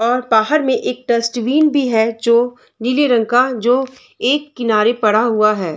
बाहर मे एक डस्टबिन भी है जो नीले रंग का जो एक किनारे पड़ा हुआ है।